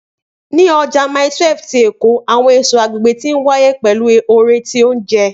Ni Ọja Mile 12 ti Eko, awọn eso agbegbe ti nwaye pẹlu oore ti ounjẹ.